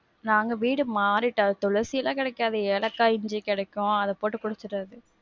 நாங்க வீடு மாறிட்டோம். துளசிலாம் கெடைக்காது. ஏலக்காய், இஞ்சி, கெடைக்கும். அத போட்டு குடிச்சிறது.